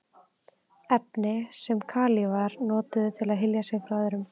Efni sem kalífar notuðu til að hylja sig frá öðrum.